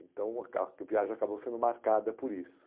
Então a viagem acabou sendo marcada por isso.